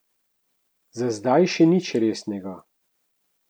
Za zdaj še ni nič resnega.